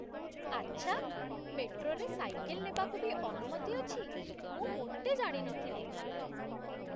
ଆଚ୍ଛା! ମେଟ୍ରୋରେ ସାଇକେଲ ନେବାକୁ ବି ଅନୁମତି ଅଛି । ମୁଁ ମୋଟେ ଜାଣିନଥିଲି ।